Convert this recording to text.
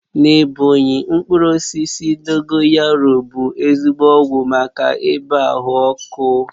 Na Ebọnyi, mkpụrụ osisi dogoyaru bụ ezigbo ọgwụ maka ibàa ahụ ọkụ